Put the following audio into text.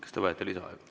Kas te vajate lisaaega?